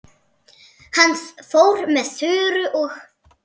Hann fór með Þuru og